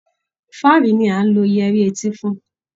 Fáàrí ni à ń lo yẹrí etí fún